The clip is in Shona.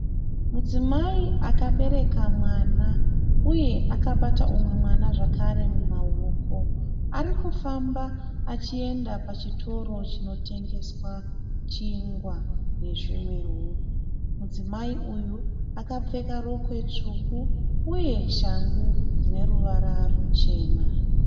Mudzimai akabereka mwana, uye akabata umwe mwana zvekare mumaoko. Arikufamba achienda pachitoro chinotengeswa chingwa nezvimwewo. Mudzimai uyu akapfeka rokwe tsvuku uye shangu dzineruvara ruchena.